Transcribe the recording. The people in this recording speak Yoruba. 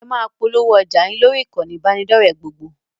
Ẹ máa polówó ọjà yín lórí ìkànnì ìbánidọ́ọ̀rẹ́ gbogbo!